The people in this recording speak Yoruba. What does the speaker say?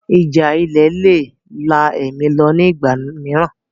Ìjà ilẹ̀ le è la ẹ̀mí lọ ní ìgbà mìíràn